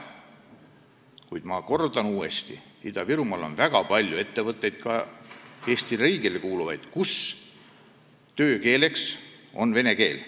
Kuid ma kordan uuesti: Ida-Virumaal on väga palju ettevõtteid, ka Eesti riigile kuuluvaid, kus töökeeleks on vene keel.